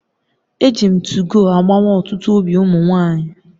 Eji m 2go agbawa otutu obi umu nwanyi